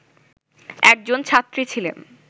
একজন ছাত্রী ছিলেন